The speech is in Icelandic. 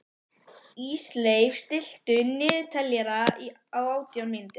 Ísleif, stilltu niðurteljara á átján mínútur.